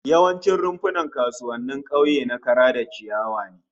Yawancin rumfunan kasuwannin kauye na kara da ciyawa ne